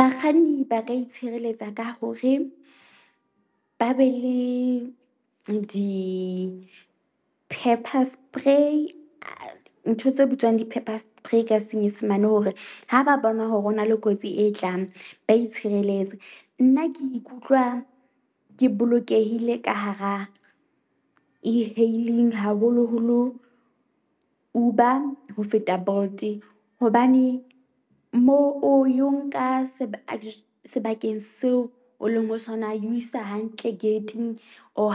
Bakganni ba ka itshireletsa ka hore ba be le di-pepper spray ntho tse bitswang di-pepper spray ka senyesemane, hore ha ba bona hore ho na le kotsi e tlang ba itshireletse. Nna ke ikutlwa ke bolokehile ka hara E-hailing, haholo-holo Uber ho feta Bolt hobane moo o eo nka sebakeng sebakeng seo o leng ho sona. E o isa hantle gate-ing or